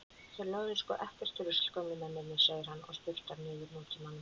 Þeir lögðu sko ekkert rusl gömlu mennirnir, segir hann og sturtar niður Nútímanum.